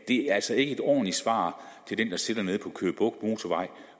det er altså ikke et ordentligt svar til den der sidder nede på køge bugt motorvejen